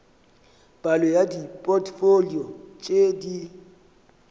palo ya dipotfolio tše di